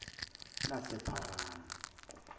lasepharanu